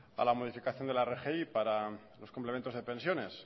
a la modificación de la rgi para los complementos de pensiones